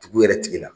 Dugu yɛrɛ tigi la